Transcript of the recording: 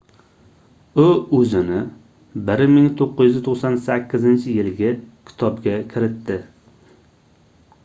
u oʻzini 1998-yilgi kitobga kiritdi